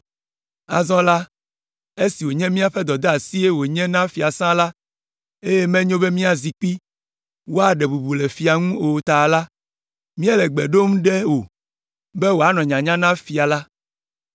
Azɔ la, esi wònye míaƒe dɔdeasie wònye na fiasã la, eye menyo be miazi kpi woaɖe bubu le fia la ŋu o ta la, míele gbe ɖom ɖe wò be wòanɔ nyanya na fia la,